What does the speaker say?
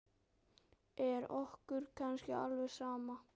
Er okkur kannski alveg sama?